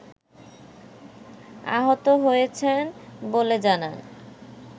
আহত হয়েছেন বলে জানান